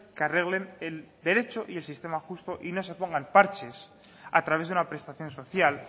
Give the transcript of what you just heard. que arreglen el derecho y el sistema justo y no se pongan parches a través de una prestación social